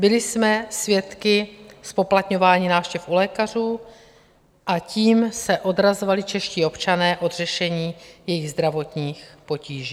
Byli jsme svědky zpoplatňování návštěv u lékařů, a tím se odrazovali čeští občané od řešení jejich zdravotních potíží.